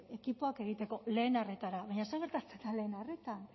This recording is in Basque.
ekipoak egiteko lehen arretara baina zer gertatzen da lehen arretan